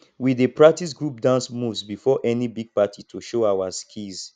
we dey practice group dance moves before any big party to show our skills